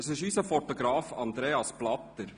Es handelt sich um unseren Fotografen Andreas Blatter.